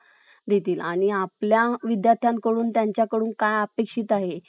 देतील. आणि आपल्या विद्यर्थ्यांकडून त्यांच्याकडून काय अपेक्षित आहेत ,